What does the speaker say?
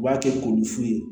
U b'a kɛ ko ni fu ye